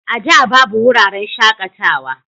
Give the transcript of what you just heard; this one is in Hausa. A da babu wuraren shakatawa